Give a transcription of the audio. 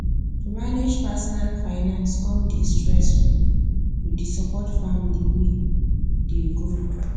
to manage personal finance com dey stressful with the support family whey dey grow